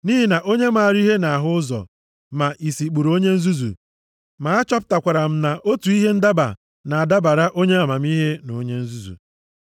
Nʼihi na onye maara ihe na-ahụ ụzọ ma isi kpuru onye nzuzu. Ma achọpụtakwara m na otu ihe ndaba na-adabara onye amamihe na onye nzuzu.